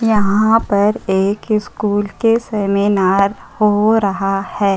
यहाँ पर एक स्कूल के सेमिनार हो रहा है।